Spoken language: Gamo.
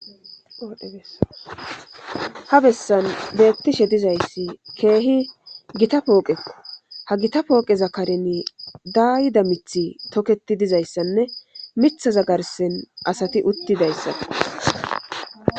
Ha bessan beettishe diza issi keehi gita pooqekko .Ha gita pooqeza karen daayida mithi toketi diza issanne mithaza garssen asati uttida issan.